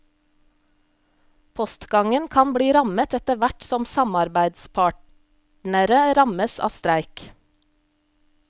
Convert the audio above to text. Postgangen kan bli rammet etter hvert som samarbeidspartnere rammes av streik.